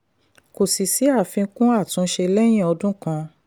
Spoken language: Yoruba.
kò sí sí àfikún àtúnṣe lẹ́yìn ọdún kan.